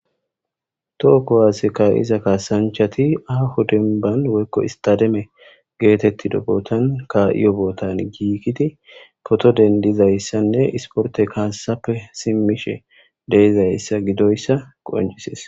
Toho kuwaase kaasanchati aaho dembban woykko istademe geetettido bootan ka7iyo bootan giigidi poto dendizayssanne isporte kaassappe simmishe deizayssa gidoyssa qoncises.